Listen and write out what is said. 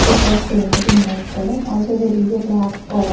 which was painted in white colour also there is a lap --